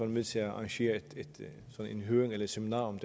med til at arrangere en høring eller et seminar om